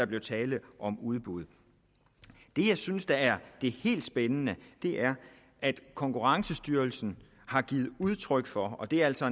blev tale om udbud det jeg synes er det helt spændende er at konkurrencestyrelsen har givet udtryk for og det er altså